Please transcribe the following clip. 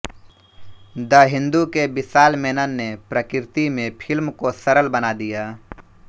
the Hindu के विशाल मेनन ने प्रकृति में फिल्म को सरल बना दिया